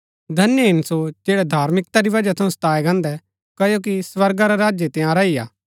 धन्य हिन सो जैड़ै धार्मिकता री वजह थऊँ सताये गान्दै क्ओकि स्वर्गा रा राज्य तंयारा ही हा